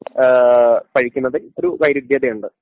ഏഹ് പഴിക്കുന്നതിൽ ഒരു വൈരുദ്ധ്യതയുണ്ട്.